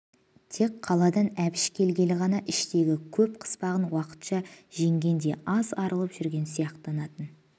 тек қаладан әбіш келгелі ғана іштегі көп қыспағын уақытша жеңгендей аз арылып жүрген сияқтанатын